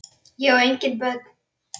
Ég á engin börn!